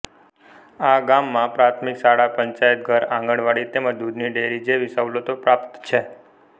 આ ગામમાં પ્રાથમિક શાળા પંચાયતઘર આંગણવાડી તેમ જ દૂધની ડેરી જેવી સવલતો પ્રાપ્ત છે